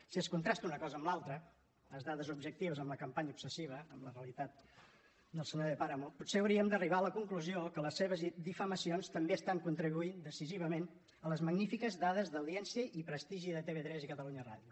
si es contrasta una cosa amb l’altra les dades objectives amb la campanya obsessiva amb la realitat del senyor de páramo potser hauríem d’arribar a la conclusió que les seves difamacions també estan contribuint decisivament a les magnífiques dades d’audiència i prestigi de tv3 i catalunya ràdio